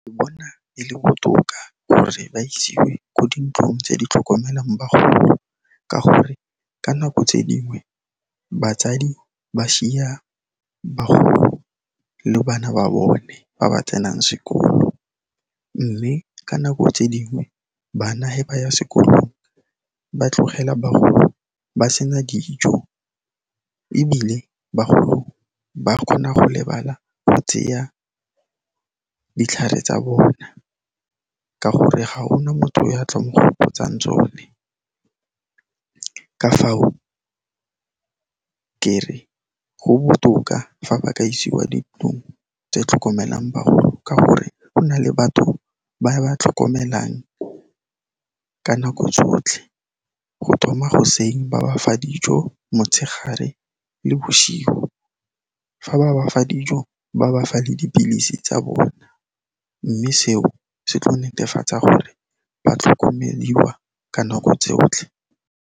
Ke bona e le botoka gore ba isiwe ko dintlong tse di tlhokomelang bagodi ka gore ka nako tse dingwe batsadi ba šiya bagolo le bana ba bone ba ba tsenang sekolo, mme ka nako tse dingwe bana he ba ya sekolong, ba tlogela bagolo ba sena dijo ebile bagolo ba kgona go lebala go tseya ditlhare tsa bona ka gore ga gona motho ya tla mo gopotsang tsone. Ka fao, kere go botoka fa ba ka isiwa dintlong tse tlhokomelang bagolo ka gore gona le batho ba ba tlhokomelang ka nako tsotlhe go thoma goseng ba ba fa dijo, motshegare le bošigo fa ba ba fa dijo, ba ba fa le dipilisi tsa bona, mme seo se tlo netefatsa gore ba tlhokomeliwa ka nako tsotlhe.